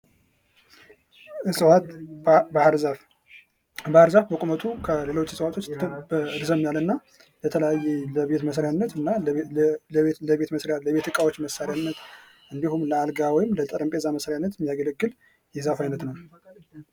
እጽዋት ባህር ዛፍ ባህር ዛፍ በቁመቱ ከሌሎች እጽዋቶች እረዘም ያለ እና ለተለያየ ለቤት መስሪያነት እና ለቤት እቃዎች መሳሪያነት እንዲሁም ለአልጋ ወይም ለጠረጴዛ መስሪያነት የሚያገለግል የዛፍ አይነት ነው።